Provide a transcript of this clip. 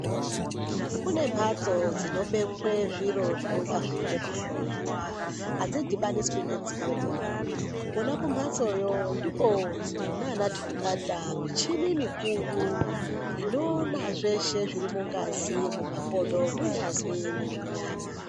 Kune mbatso dzinobekwa zviro zvinenge zveida kuhloiwa adzidhubaniswi nedzimwenipi Kona kumbatsoyo ndiko kunana tungata muchini mukuru inoona zveshe zviri mungazi mumakodo mungazi nemunyama.